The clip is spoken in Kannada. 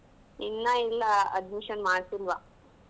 ಇನ್ನ ಇಲ್ಲ admission ಮಾಡ್ಸಿಲ್ವಾ.